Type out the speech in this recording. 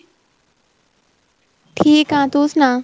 ਠੀਕ ਆ ਤੂੰ ਸੁਣਾ